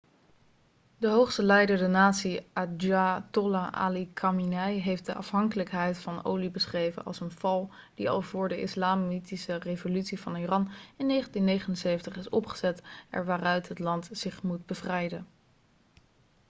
de hoogste leider de natie ayatollah ali khamenei heeft de afhankelijkheid van olie beschreven als een val' die al voor de islamitische revolutie van iran in 1979 is opgezet er waaruit het land zich moet bevrijden